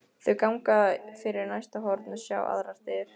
Þau ganga fyrir næsta horn og sjá þá aðrar dyr.